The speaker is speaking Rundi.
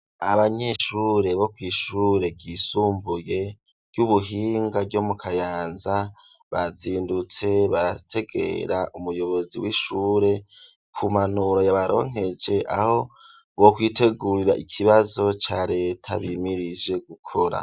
Abanyeshure bo kwishure ryisumbuye ry'ubuhinga ryo mu kayanza bazindutse barategera umuyobozi w'ishure ku mpanuro ya baronkeje aho bo kwitegurira ikibazo ca leta bimirije gukora.